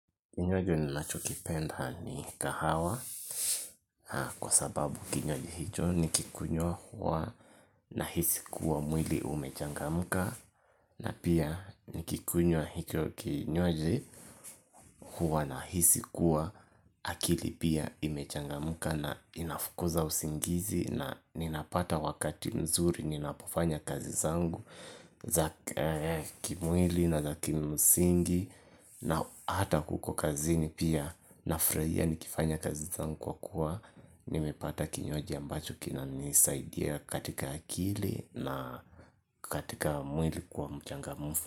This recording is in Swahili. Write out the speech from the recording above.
Kinywaji ninachokipenda ni kahawa kwa sababu kinywaji hicho nikikunywa huwa nahisi kuwa mwili umechangamka, na pia nikikunywa hicho kinywaji huwa nahisi kuwa akili pia imechangamka, na inafukuza usingizi, na ninapata wakati mzuri ninapofanya kazi zangu za kimwili na za kimsingi. Na hata uko kazini pia nafurahia nikifanya kazi zangu kwa kuwa, nimepata kinywaji ambacho kinanisaidia katika akili na katika mwili kuwa mchangamfu.